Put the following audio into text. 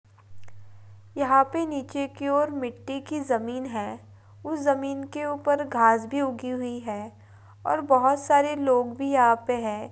यहाँ पे नीचे की ओर मिट्टी की जमीन है उस जमीन के ऊपर घास भी उगी हुई है और बहुत सारे लोग भी यहाँ पे है।